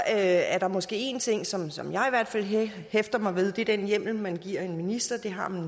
er der måske en ting som som jeg i hvert fald hæfter mig ved og det er den hjemmel man giver en minister det har man